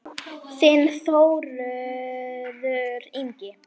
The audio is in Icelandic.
Þinn Þórður Ingi.